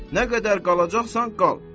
Nə qədər qalacaqsan, qal.